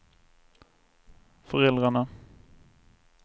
föräldrarna